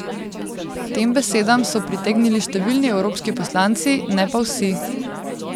Tem besedam so pritegnili številni evropski poslanci, ne pa vsi.